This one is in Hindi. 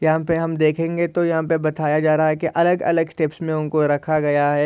यहा पे हम देखेंगे तो यहा पे बताया जा रहा है की अलग-अलग स्टेप्स मे उनको रखा गया है।